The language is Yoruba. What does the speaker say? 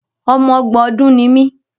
Ọmọ ọgbọ̀n ọdùn ni mí.